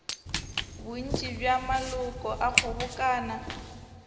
bontši bja maloko a kgobokano